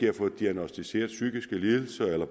har fået diagnosticeret psykiske lidelser eller